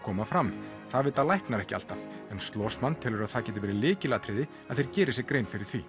koma fram það vita læknar ekki alltaf en telur að það geti verið lykilatriði að þeir geri sér grein fyrir því